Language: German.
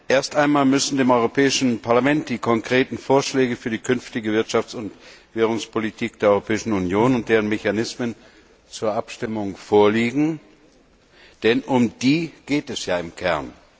Erst einmal müssen dem Europäischen Parlament die konkreten Vorschläge für die künftige Wirtschafts und Währungspolitik der Europäischen Union und deren Mechanismen zur Abstimmung vorliegen, denn darum geht es ja im Kern.